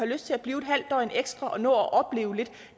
lyst til at blive en halv døgn ekstra og nå at opleve lidt